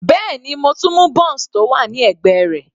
Bẹ́ẹ̀ni, mo tún mú bounce tó wà ní ẹ̀gbẹ́ rẹ̀.